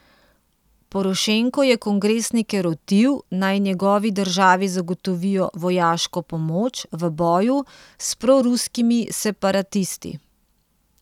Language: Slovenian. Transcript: Porošenko je kongresnike rotil, naj njegovi državi zagotovijo vojaško pomoč v boju s proruskimi separatisti.